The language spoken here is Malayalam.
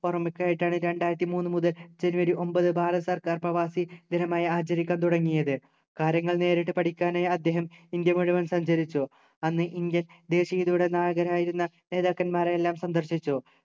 ഓർമ്മയ്ക്കായിട്ടാണ് രണ്ടായിരത്തി മൂന്നു മുതൽ ജനുവരി ഒമ്പത് ഭാരത സർക്കാർ പ്രവാസി ദിനമായി ആചരിക്കാൻ തുടങ്ങിയത് കര്യങ്ങൾ നേരിട്ട് പഠിക്കാനായി അദ്ദേഹം ഇന്ത്യ മുഴുവൻ സഞ്ചരിച്ചു അന്ന് indian ദേശീയതയുടെ നായകരായിരുന്ന നേതാക്കന്മാരെയെല്ലാം സന്ദർശിച്ചു